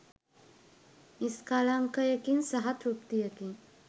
නිස්කලංකයකින් සහ තෘප්තියකින්